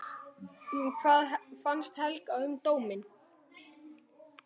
Hvað fannst Helga um dóminn?